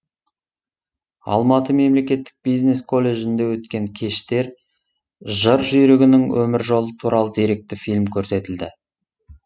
алматы мемлекеттік бизнес колледжінде өткен кештер жыр жүйрігінің өмір жолы туралы деректі фильм көрсетілді